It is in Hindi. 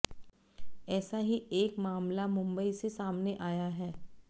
ऐसा ही एक मामला मुंबई से सामने आया है